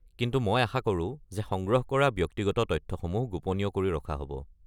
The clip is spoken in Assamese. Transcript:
কিন্তু মই আশা কৰো যে সংগ্ৰহ কৰা ব্যক্তিগত তথ্যসমূহ গোপনীয় কৰি ৰখা হ'ব।